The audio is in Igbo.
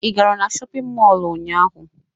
Ị gara na shọpịn mọọ ụnyaahụ?